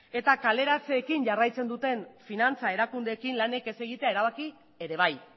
eta kaleratzeekin jarraitzen duten finantza erakundeekin lanik ez egitea erabaki ere bai